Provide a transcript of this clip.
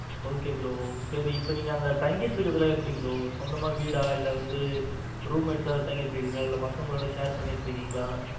okay bro சரி இப்ப நீங்க அங்க தங்கிட்டு இருக்கிறது எல்லாம் எப்படி bro சொந்தமா வீடா, இல்ல வந்து room எடுத்தாவது தங்கிட்டு இருக்கீங்களா? இல்ல பசங்களோட share பண்ணிக்கிட்டு இருக்கீங்களா?